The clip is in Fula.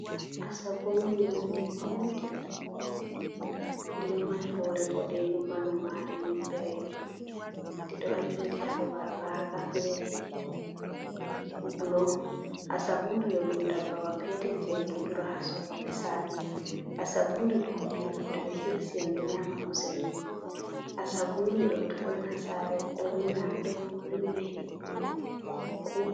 Asugumri on ɗi maundi ɗi ɗo mari hore boɗejum ɓandu mare nyebberejum ɗi ɗo joɗi ha babal raga fere blo. Asugumri ɗo ɗum dabbawa petel je en ɗo dura ha sare. Asugumri ɗo to ɓe hirsi en ɗo nyama kusel mai. Asugumri ɗo to ɗon ha sare ɗo rima, ɗo rimina himɓe.